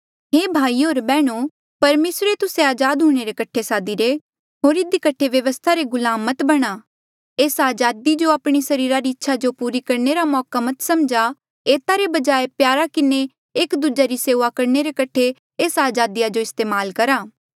हे भाईयो होर बैहणो परमेसरे तुस्से अजाद हूंणे रे कठे सादीरे होर इधी कठे व्यवस्था रे गुलाम मत बणा एस्सा अजादी जो आपणी सरीरा री इच्छा जो पूरी करणे रा मौका मत समझा एता रे बजाय प्यार किन्हें एक दूजे री सेऊआ करणे रे कठे एस्सा अजादी जो इस्तेमाल करहा